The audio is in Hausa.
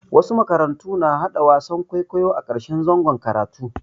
Wasu makarantu na haɗa wasan kwaikwayo a ƙarshen zangon karatu.